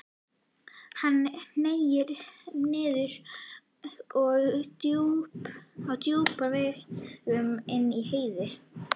Hann hneig niður á rjúpnaveiðum inni í Heiði.